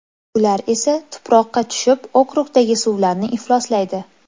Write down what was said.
Ular esa tuproqqa tushib okrukdagi suvlarni ifloslaydi.